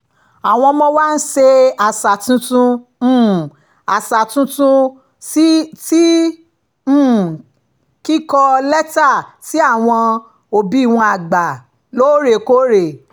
àwọn ọmọ wa ń ṣayẹyẹ um àṣà tuntun ti um kíkọ lẹ́tà sí àwọn òbí wọn àgbà lóòrèkóòrè